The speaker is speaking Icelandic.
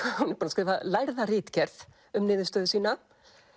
hún er búin að skrifa lærða ritgerð um niðurstöðu sína